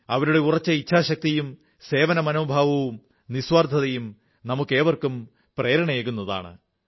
അവരുടെ ഉറച്ച ഇച്ഛാശക്തിയും സേവനമനോഭാവവും നിസ്വാർഥതയും നമുക്കേവർക്കും പ്രേരണയേകുന്നതാണ്